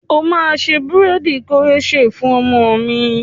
O máa ṣe búréèdì koroṣé fún ọmọ mi.